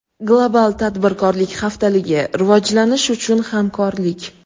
Global Tadbirkorlik Haftaligi – Rivojlanish uchun Hamkorlik!